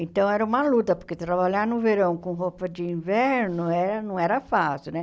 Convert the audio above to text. Então era uma luta, porque trabalhar no verão com roupa de inverno era não era fácil, né?